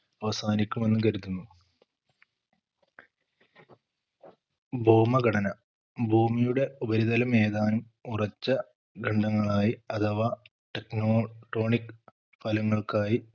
അവസാനിക്കുമെന്ന് കരുതുന്നു ഭൗമഘടന ഭൂമിയുടെ ഉപരിതലം ഏതാനും ഉറച്ച ഖണ്ഡങ്ങളായി അഥവാ Techno tronic ഫലങ്ങൾക്കായി